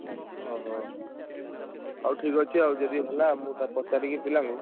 ଓହୋ! ହଉ ଠିକ୍ ଅଛି ଆଉ ଯଦି ହେଲା ମୁଁ ପଚାରିକି ପିଲାଙ୍କୁ।